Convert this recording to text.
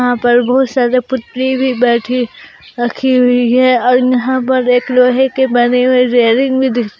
यहां पर बहुत सारा पुतली बैठी रखी हुई है और यहां पर एक लोहे के बने हुए रेलिंग भी दिख--